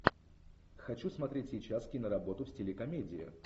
хочу смотреть сейчас киноработу в стиле комедия